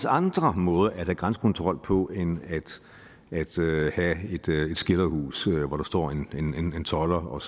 andre måder at have grænsekontrol på end at have et skilderhus hvor der står en tolder og